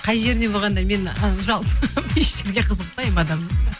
қай жеріне болғанда мен еш жеріне қызықпаймын адамның